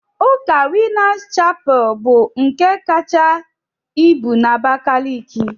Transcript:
Ụka winners chapel bu ulọ nke kacha ibu na Abakaliki?